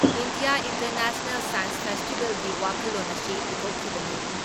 India international science ꯐꯦꯁꯇꯤꯚꯦꯜꯒꯤ ꯋꯥꯈꯜꯂꯣꯟ ꯑꯁꯤ ꯄꯨꯊꯣꯛꯈꯤꯕꯅꯤ ꯫